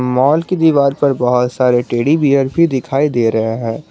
Mall की दीवार पर बहुत सारे टैडी बियर भी दिखाई दे रहे हैं।